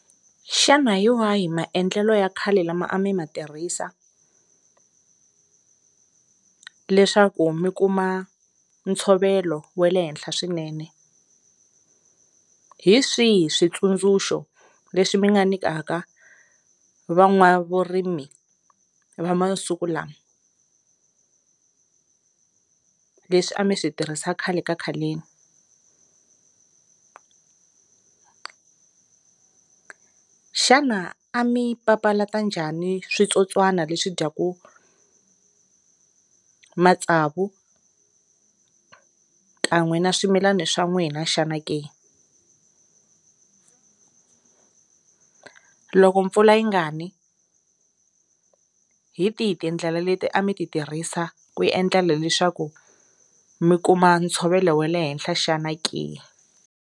Xana hi wahi maendlelo ya khale lama a mi ma tirhisa leswaku mi kuma ntshovelo wa le henhla swinene, hi swihi switsundzuxo leswi mi nga nyikaka va n'wavurimi va masiku lama leswi a mi swi tirhisa khale ka khaleni, xana a mi papalata njhani switsotswana leswi dyaku matsavu kan'we na swimilana swa n'wina xana ke loko mpfula yi nga ni hi tihi tindlela leti a mi ti tirhisa ku yi endlela leswaku mi kuma ntshovelo wa le henhla xana ke.